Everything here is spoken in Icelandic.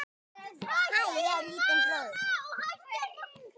Hún horfði á Örn.